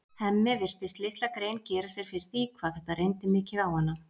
Hemmi virtist litla grein gera sér fyrir því hvað þetta reyndi mikið á hana.